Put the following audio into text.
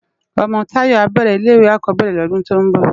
Òmò Tayo á bèrè ilé iwé ákòbèrè lòdún tò n bò